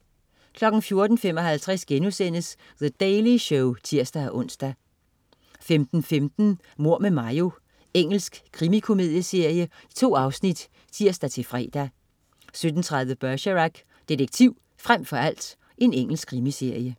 14.55 The Daily Show* (tirs-ons) 15.15 Mord med Mayo. Engelsk krimikomedieserie. 2 afsnit (tirs-fre) 17.30 Bergerac: Detektiv frem for alt. Engelsk krimiserie